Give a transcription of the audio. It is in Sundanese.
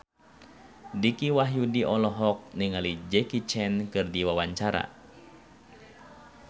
Dicky Wahyudi olohok ningali Jackie Chan keur diwawancara